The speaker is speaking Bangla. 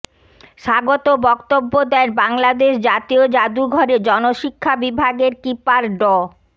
স্বাগত বক্তব্য দেন বাংলাদেশ জাতীয় জাদুঘরের জনশিক্ষা বিভাগের কিপার ড